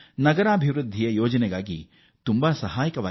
ನಗರ ಪ್ರದೇಶಧ ಅಭಿವೃದ್ಧಿ ಹಾಗೂ ಯೋಜನೆಗಳಿಗೂ ಸಹಕಾರಿ